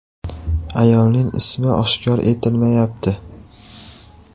Ayolning ismi oshkor etilmayapti.